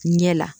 Ɲɛ la